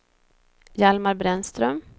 Hjalmar Brännström